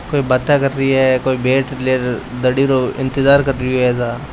कोई बाता कर रही है कोई बेट लेर दड़ी रो इंतज़ार कर रहियो है सा।